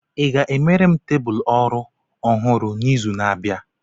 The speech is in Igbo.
I ga-emere m tebụl ọrụ ọhụrụ n'izu na-abịa?